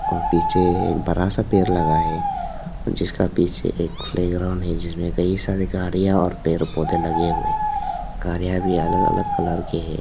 और पीछे एक बड़ा सा पेड़ लगा है जिसका पीछे एक प्ले ग्राउंड है जिसमें कई सारे गाड़ियां और पेड़ पौधे लगे हुए गाड़ियां भी अलग अलग कलर के है।